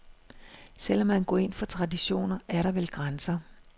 Selv om man går ind for traditioner, er der vel grænser.